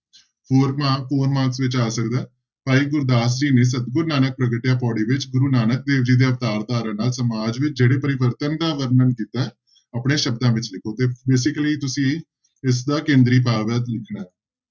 Four mark, four mark ਵਿੱਚ ਆ ਸਕਦਾ ਹੈ ਭਾਈ ਗੁਰਦਾਸ ਜੀ ਨੇ ਸਤਿਗੁਰੁ ਨਾਨਕ ਪ੍ਰਗਟਿਆ ਪਾਉੜੀ ਵਿੱਚ ਗੁਰੂ ਨਾਨਕ ਦੇਵ ਜੀ ਦੇ ਅਵਤਾਰ ਧਾਰਨ ਨਾਲ ਸਮਾਜ ਵਿੱਚ ਜਿਹੜੇ ਪਰਿਵਰਤਨ ਦਾ ਵਰਣਨ ਕੀਤਾ ਹੈ, ਆਪਣੇ ਸ਼ਬਦਾਂ ਵਿੱਚ ਲਿਖੋ ਤੇ basically ਤੁਸੀਂ ਇਸਦਾ ਕੇਂਦਰੀ ਭਾਵ ਹੈ ਲਿਖਣਾ ਹੈ।